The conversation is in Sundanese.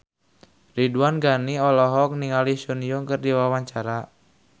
Ridwan Ghani olohok ningali Sun Yang keur diwawancara